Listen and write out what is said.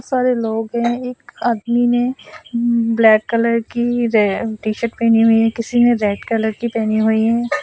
सारे लोग है एक आदमी ने ब्लैक कलर की रे टी शर्ट पहनी हुई है किसी ने रेड कलर की पहनी हुई है।